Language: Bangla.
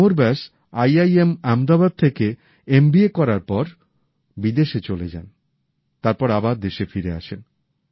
Amar Vyas I I M Ahmedabad থেকে এমবিএ করার পরে বিদেশে চলে যান তারপর আবার দেশে ফিরে আসেন